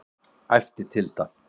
æpti Tilda.